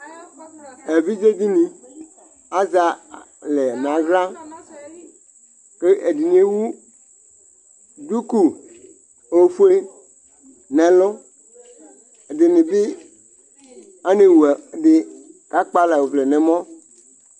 Ɛviɖini azɛ alɛ n'aɣa kʋ ɛɖini ewu dʋku ofue n'ɛlʋɛ ɖinii anɛwu ɛkʋɛɖi k'akpala ɔvlɛ n'ɛmɔ